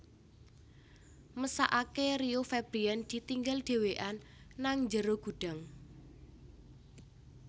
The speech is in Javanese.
Mesakake Rio Febrian ditinggal dewean nang njero gudang